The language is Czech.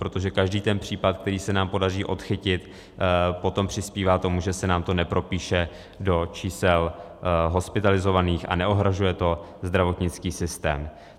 Protože každý ten případ, který se nám podaří odchytit, potom přispívá tomu, že se nám to nepropíše do čísel hospitalizovaných a neohrožuje to zdravotnický systém.